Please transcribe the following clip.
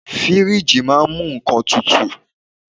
Fíríjì máà ń mú nnkan tutù.